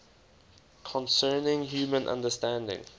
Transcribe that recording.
concerning human understanding